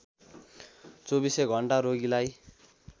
चौबीसै घण्टा रोगीलाई